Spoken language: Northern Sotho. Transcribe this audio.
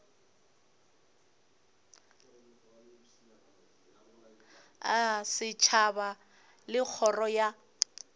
a setšhaba le kgoro ya